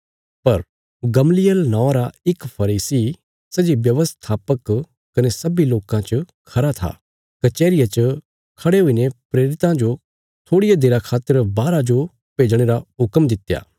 पर गमलीएल नौआं रा इक फरीसी सै जे व्यवस्थापक कने सब्बीं लोकां च खरा था कचैहरिया च खड़े हुईने प्रेरितां जो थोड़िया देरा खातर बाहरा जो भेजणे रा हुक्म दित्या